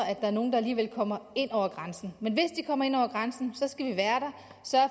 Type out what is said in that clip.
at der er nogle der alligevel kommer ind over grænsen men hvis de kommer ind over grænsen skal vi være der